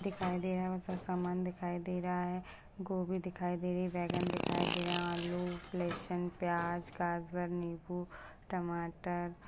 दिखाई दे रहा है बहुत सा समान दिखाई दे रहा है गोभी दिखाई दे रही बैगन दिखाई दे रहे है आलू लेशन प्याज गाजर नीबू टमाटर--